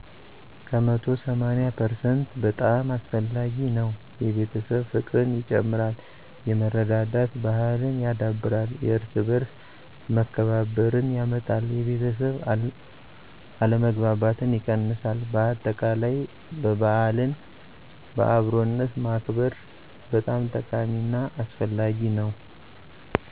ከመቶ ሰማኒያ ፐርሰንት በጣም አስፈላጊ ነው። የቤተሰብ ፍቅርን ይጨምራል፣ የመረዳዳት ባሕልን ያዳብራል፣ የየእርስ በእርስ መከባበርን ያመጣል፣ የቤተሠብ አለመግባባትን ይቀንሳል በአጠቃላይ በዓልን በአብሮነት ማክበር በጣም ጠቃሚ እና አስፈላጊ ነው።